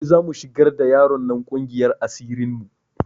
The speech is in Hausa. Gobe za mu shigar da yaron nan ƙungiyar asirin mu